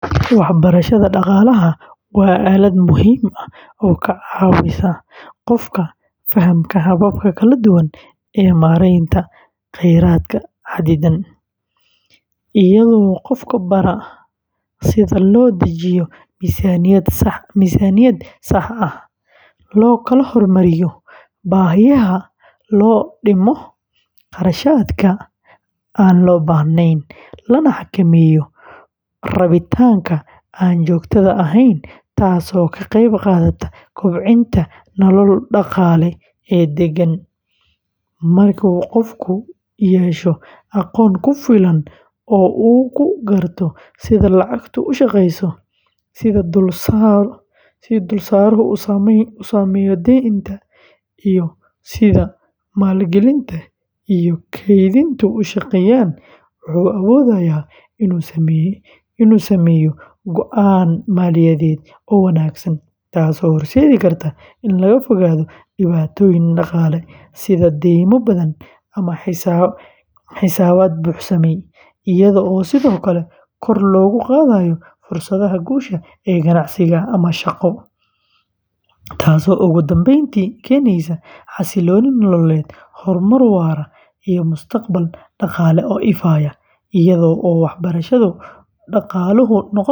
Waxbarashada dhaqaalaha waa aalad muhiim ah oo ka caawisa qofka fahamka hababka kala duwan ee maaraynta kheyraadka xaddidan, iyadoo qofka bara sida loo dejiyo miisaaniyad sax ah, loo kala hormariyo baahiyaha, loo dhimo kharashaadka aan loo baahnayn, lana xakameeyo rabitaanka aan joogtada ahayn, taasoo ka qeyb qaadata kobcinta nolol dhaqaale oo deggan; marka qofku yeesho aqoon ku filan oo uu ku garto sida lacagtu u shaqeyso, sida dulsaaru u saameeyo deynta, iyo sida maalgelinta iyo kaydintu u shaqeeyaan, wuxuu awoodayaa inuu sameeyo go’aan maaliyadeed oo wanaagsan, taasoo horseedi karta in laga fogaado dhibaatooyin dhaqaale sida deymo badan ama xisaabaad buuxsamay, iyadoo sidoo kale kor loogu qaadayo fursadaha guusha ee ganacsi ama shaqo, taasoo ugu dambeyntii keeneysa xasillooni nololeed, horumar waara iyo mustaqbal dhaqaale oo ifaya, iyada oo waxbarashada dhaqaaluhu noqoneyso.